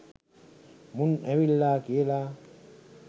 මුං ඇවිල්ලා කියලා.